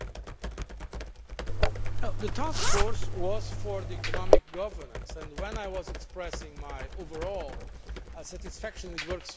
The task force was for economic governance and, when I was expressing my overall satisfaction with the work so far, I was referring to that.